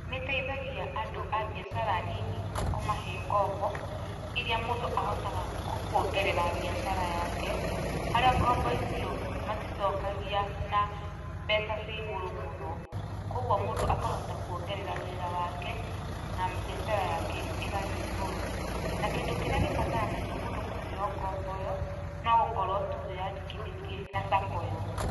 Nĩteithagia andũ a mbiacara nini na kũmahe ngombo, iria mũndũ ahotaga kuongerera mbiacara yake, harĩa ngombo icio maticokagia na mbeca cigũrũ mũno, kuoguo mũndũ akahota kuongerera wĩra wake na mbiacara yake ĩgathiĩ igũrũ, na kĩndũ kĩrĩa gĩbataranagia mũndũ kũheo ngombo ĩyo, nogũkorũo wĩyandĩkithĩtie na sacco ĩyo.